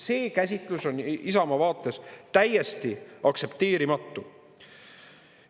See käsitlus on Isamaa vaates täiesti aktsepteerimatu.